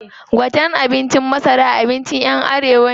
Gwaten tsakin masara abincin ƴan arewa ne.